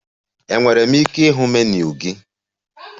Enwere m ike ịhụ menu gị?